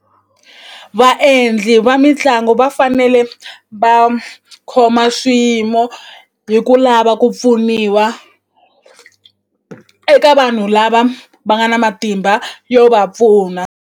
Vaendli va mitlangu va fanele va khoma swiyimo hi ku lava ku pfuniwa eka vanhu lava va nga na matimba yo va pfuna.